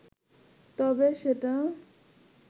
তবে সেটা